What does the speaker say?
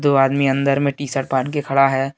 दो आदमी अंदर में टी शर्ट पहन के खड़ा है।